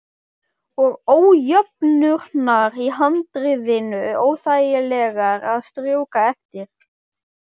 Og ójöfnurnar í handriðinu óþægilegar að strjúka eftir.